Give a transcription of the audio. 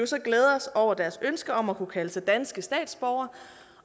så glæde os over deres ønske om at kunne kalde sig danske statsborgere